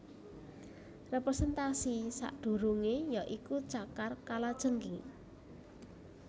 Representasi sakdurunge ya iku cakar kalajengking